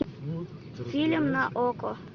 фильм на окко